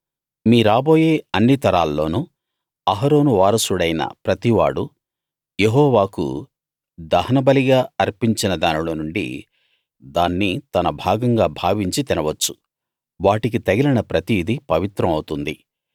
మీ రాబోయే అన్ని తరాల్లోనూ అహరోను వారసుడైన ప్రతివాడూ యెహోవాకు దహనబలిగా అర్పించిన దానిలోనుండి దాన్ని తన భాగంగా భావించి తిన వచ్చు వాటికి తగిలిన ప్రతిదీ పవిత్రం అవుతుంది